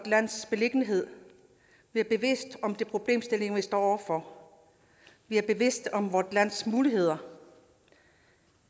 lands beliggenhed vi er bevidste om de problemstillinger vi står over for vi er bevidste om vort lands muligheder